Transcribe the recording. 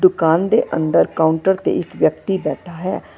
ਦੁਕਾਨ ਦੇ ਅੰਦਰ ਕਾਊਂਟਰ ਤੇ ਇੱਕ ਵਿਅਕਤੀ ਬੈਠਾ ਹੈ ।